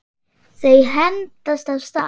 Þau hendast af stað.